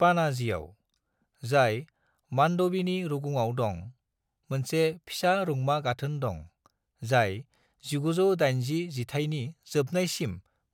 पाणाजीआव, जाय मांडवीनि रुगुङाव दं, मोनसे फिसा रुंमा गाथोन दं, जाय 1980 जिथाइनि जोबनायसिम